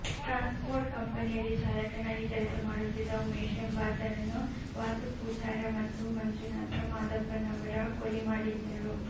ಟ್ರಾನ್ಸ್ port ಕಂಪನಿಯಲ್ಲಿ ಚಾಲಕನಾಗಿ ಕೆಲಸ ಮಾಡುತ್ತಿದ್ದ ಉಮೇಶ ಎಂಬಾತನನ್ನು ವಾಸು ಪೂಜಾರ ಮತ್ತು ಮಂಜುನಾಥ ಮಾದಪ್ಪನವರ ಕೊಲೆ ಮಾಡಿದ್ದರು